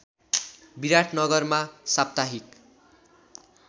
विराटनगरमा साप्ताहिक